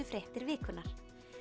fréttir vikunnar